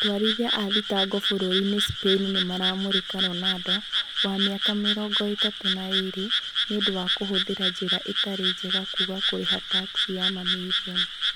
Atwarithia a thitango bũrũri-inĩ Spaini nimaramũmũrika Ronaldo, wa miaka mĩrongo itatũ na ĩrĩ, niundũ wa kũhũthĩra njira itari njega kũaga kũriha taxi ya mamirioni.